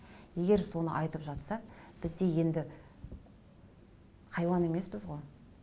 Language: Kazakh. егер соны айтып жатса біз де енді хайуан емеспіз ғой